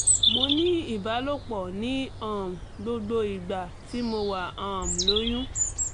mo ní ìbálòpọ̀ ní um gbogbo ìgbà tí mo wà um lóyún